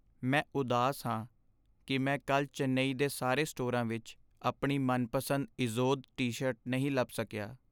ਮੈਂ ਉਦਾਸ ਹਾਂ ਕੀ ਮੈਂ ਕੱਲ੍ਹ ਚੇਨਈ ਦੇ ਸਾਰੇ ਸਟੋਰਾਂ ਵਿੱਚ ਆਪਣੀ ਮਨਪਸੰਦ ਇਜ਼ੋਦ ਟੀ ਸ਼ਰਟ ਨਹੀਂ ਲੱਭ ਸਕੀਆ